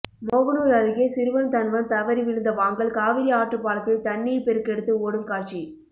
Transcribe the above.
மோகனூர் அருகே சிறுவன் தன்வந்த் தவறிவிழுந்த வாங்கல் காவிரி ஆற்றுப்பாலத்தில் தண்ணீர் பெருக்கெடுத்து ஓடும் காட்சி